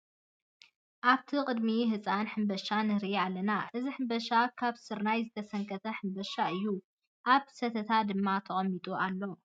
ኣብቲ ቅድሚ ህፃን ሕምባሻ ንርኢ ኣለና ። እዚ ሕምባሻ ካብ ስርናይ ዝተሰንከተ ሕምባሻ እዩ ። ኣብ ሰተታ ድማ ተቀሚጡ ኣሎ።